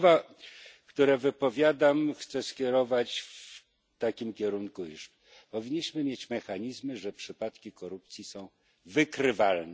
Słowa, które wypowiadam, chcę skierować w takim kierunku, iż powinniśmy mieć mechanizmy, że przypadki korupcji są wykrywalne.